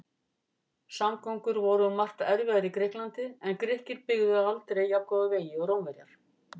Samgöngur voru um margt erfiðar í Grikklandi en Grikkir byggðu aldrei jafngóða vegi og Rómverjar.